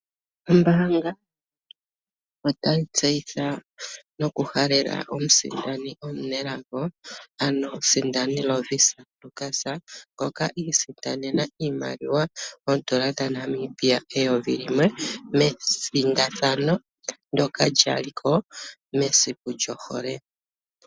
Ombanga otayi tseyitha noku halela omusindani omunelago, ano omusindani Lovisa Lukas ngoka isindanena iimaliwa oodollar dhaNamibia eyovi limwe mesindathano ndjoka lyaliko mesiku lyohole.